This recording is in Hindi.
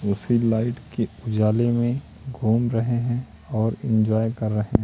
उसकी लाइट की उजाले में घूम रहे हैं और इंजॉय कर रहे--